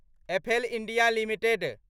apple India limited